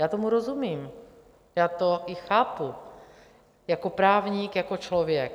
Já tomu rozumím, já to i chápu jako právník, jako člověk.